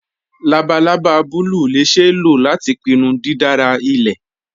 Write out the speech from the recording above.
Labalaba bùlùù lè ṣeé ló lati pínnú dídárà ilẹ̀.